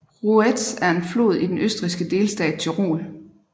Ruetz er en flod i den østrigske delstat Tyrol